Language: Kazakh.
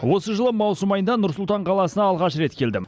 осы жылы маусым айында нұр сұлтан қаласына алғаш рет келдім